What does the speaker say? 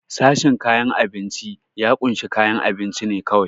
Sashen kayan abinci ya kunshi kayan abunci ne kawai.